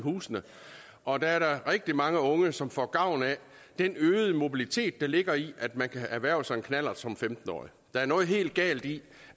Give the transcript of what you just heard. husene og der er der rigtig mange unge som får gavn af den øgede mobilitet der ligger i at man kan erhverve sig en knallert som femten årig der er noget helt galt i